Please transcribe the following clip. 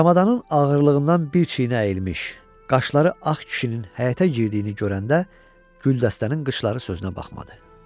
Çamadanın ağırlığından bir çiynə əyilmiş, qaşları ağ kişinin həyətə girdiyini görəndə güldəstənin qışları sözünə baxmadı.